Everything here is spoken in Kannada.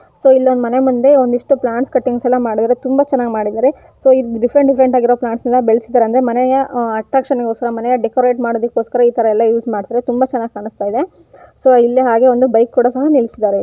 ಸೊ ಇಲ್ಲೊಂದು ಮನೆ ಮುಂದೆ ಒಂದಿಷ್ಟು ಪ್ಲಾಂಟ್ಸ್ ಕಟ್ಟಿಂಗ್ಸ್ ಎಲ್ಲ ಮಾಡಿದ್ದಾರೆ ತುಂಬಾ ಚೆನ್ನಾಗಿ ಮಾಡಿದ್ದಾರೆ ಸೊ ಈ ಡಿಫರೆಂಟ್ ಡಿಫ್ಫೆರೆಂಟ್ ಆಗಿರೋ ಪ್ಲಾಂಟ್ಸ್ ಎಲ್ಲ ಬೆಳಸಿದಾರೆ ಸೊ ಅಂದ್ರೆ ಮನೆಯ ಅಟ್ರಾಕ್ಷನ್ ಗೋಸ್ಕರ ಮನೆಯ ಡೆಕೋರಟ್ ಮಾಡೊದಕೋಸ್ಕರ ಇತರ ಎಲ್ಲ ಯೂಸ್ ಮಾಡ್ತಾರೆ ತುಂಬಾ ಚೆನ್ನಾಗಿ ಕಾಣಸ್ತಾಯಿದೆ ಸೊ ಹಾಗೆ ಇಲ್ಲಿ ಒಂದು ಬೈಕ್ ಕೂಡ ಸಹ ನಿಲ್ಸಿದಾರೆ.